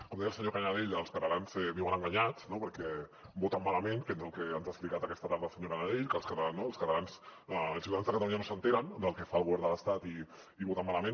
com deia el senyor canadell els catalans viuen enganyats perquè voten malament que és el que ens ha explicat aquesta tarda el senyor canadell que els catalans els ciutadans de catalunya no s’assabenten del que fa el govern de l’estat i voten malament